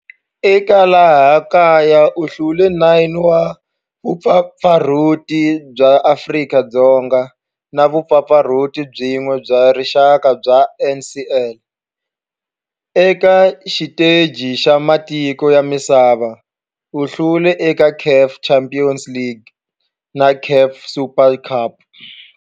Eka laha kaya u hlule 9 wa vumpfampfarhuti bya Afrika-Dzonga na vumpfampfarhuti byin'we bya rixaka bya NSL. Eka xiteji xa matiko ya misava, u hlule eka CAF Champions League na CAF Super Cup.